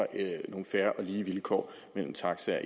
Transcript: nogle fair og lige vilkår mellem taxaer